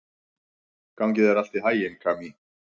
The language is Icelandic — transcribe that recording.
Gangi þér allt í haginn, Kamí.